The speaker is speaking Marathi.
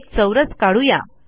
एक चौरस काढू या